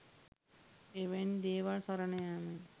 එවැනි දේවල් සරණ යාමෙන්